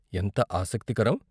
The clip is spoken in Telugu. ఎంత ఆసక్తికరం!